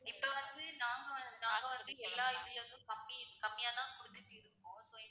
இப்ப வந்து நாங்க வந்~நாங்க வந்து எல்லா இதுலருந்தும் கம்மி கம்மியா தான் குடுத்துட்டு இருக்கோம் so